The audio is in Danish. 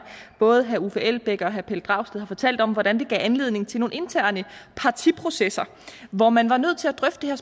både herre uffe elbæk og herre pelle dragsted har fortalt om hvordan det gav anledning til nogle interne partiprocesser hvor man var nødt til at drøfte